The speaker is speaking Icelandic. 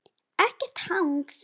Ekkert hangs!